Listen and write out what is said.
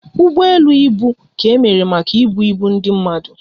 Ụgbọ elu ibu ka emere maka ibu ibu ndị mmadụ